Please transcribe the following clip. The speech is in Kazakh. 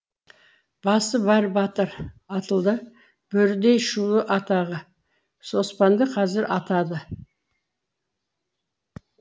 басы бар батыр атылды бөрідей шулы атағы оспанды қазір атады